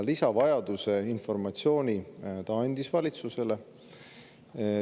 Ka informatsiooni lisavajaduse kohta andis ta valitsusele.